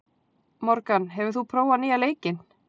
Morgan, hefur þú prófað nýja leikinn?